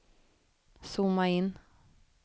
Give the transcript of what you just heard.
zooma in